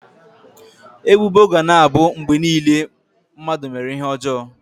Ebubo ga na-abụ mgbe niile na mmadụ mere ihe ọjọọ.